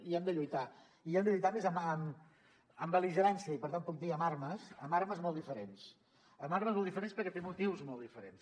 hi hem de lluitar i hi hem de lluitar amb més bel·ligerància i per tant puc dir amb armes amb armes molt diferents amb armes molt diferents perquè té motius molt diferents